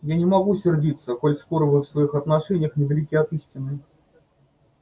я не могу сердиться коль скоро вы в своих отношениях недалеки от истины